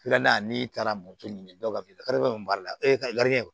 Filanan n'i taara moto ɲini dɔ ka bila min b'a lagɛ